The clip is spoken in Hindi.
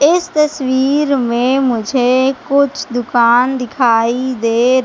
इस तस्वीर में मुझे कुछ दुकान दिखाई दे--